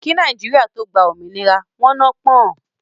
Kí Nàìjíríà tó gbá òmìnira, wọn nọ́ pọ̀n-ọ́n